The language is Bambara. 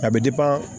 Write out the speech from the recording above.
A bɛ